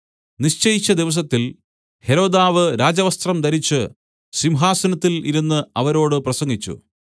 നിശ്ചയിച്ച ദിവസത്തിൽ ഹെരോദാവ് രാജവസ്ത്രം ധരിച്ച് സിംഹാസനത്തിൽ ഇരുന്ന് അവരോട് പ്രസംഗിച്ചു